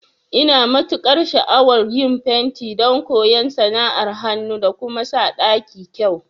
Ina matukar sha'awan yin fenti don koyan sana'ar hanu da kuma sa ɗaki kyau